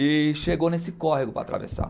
E chegou nesse córrego para atravessar.